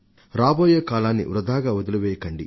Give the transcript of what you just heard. రాబోయే కాలాన్ని వృథాగా వదిలివేయకండి